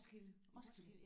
Roskilde ja